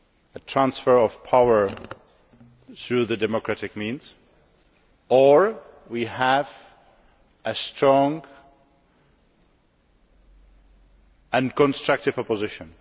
a transfer of power through democratic means, or we would have a strong and constructive opposition.